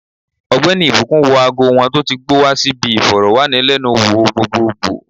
Ogbeni ìbùkún wọ ago wọn tó ti gbó wa si bi iforowanilenu wo gbogbogbo